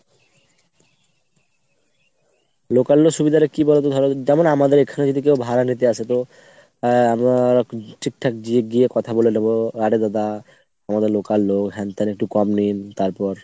local হলে সুবিধাটা কি বলোতো ধরো যেমন আমাদের এখানে যদি কেউ ভাড়া নিতে আসে তো আহ আমরা ঠিকঠাক গিয়ে~ গিয়ে তালে কথা বলে নেবো, আরে দাদা আমাদের local লোক হ্যান ত্যান একটু কম নিন, তারপর